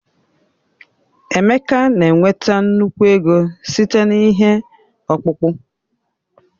Emeka na-enweta nnukwu ego site na ihe ọkpụkpụ.